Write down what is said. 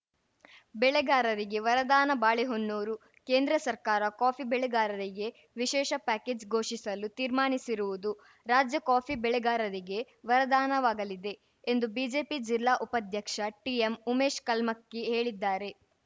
ಬೆಳೆಗಾರರಿಗೆ ವರದಾನ ಬಾಳೆಹೊನ್ನೂರು ಕೇಂದ್ರ ಸರ್ಕಾರ ಕಾಫಿ ಬೆಳೆಗಾರರಿಗೆ ವಿಶೇಷ ಪ್ಯಾಕೇಜ್‌ ಘೋಷಿಸಲು ತೀರ್ಮಾನಿಸಿರುವುದು ರಾಜ್ಯ ಕಾಫಿ ಬೆಳೆಗಾರರಿಗೆ ವರದಾನವಾಗಲಿದೆ ಎಂದು ಬಿಜೆಪಿ ಜಿಲ್ಲಾ ಉಪಾಧ್ಯಕ್ಷ ಟಿಎಂ ಉಮೇಶ್‌ ಕಲ್ಮಕ್ಕಿ ಹೇಳಿದ್ದಾರೆ